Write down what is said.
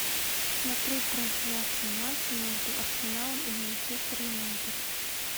смотреть трансляцию матча между арсеналом и манчестер юнайтед